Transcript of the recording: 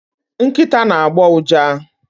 nkịta na-agbọ ụja